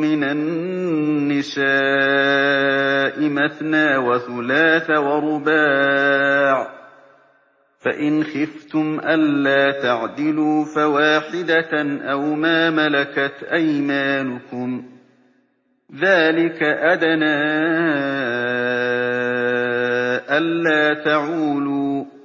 مِّنَ النِّسَاءِ مَثْنَىٰ وَثُلَاثَ وَرُبَاعَ ۖ فَإِنْ خِفْتُمْ أَلَّا تَعْدِلُوا فَوَاحِدَةً أَوْ مَا مَلَكَتْ أَيْمَانُكُمْ ۚ ذَٰلِكَ أَدْنَىٰ أَلَّا تَعُولُوا